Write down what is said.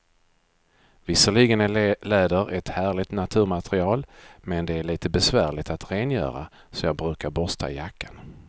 Visserligen är läder ett härligt naturmaterial, men det är lite besvärligt att rengöra, så jag brukar borsta jackan.